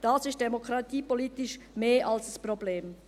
Das ist demokratiepolitisch mehr als ein Problem.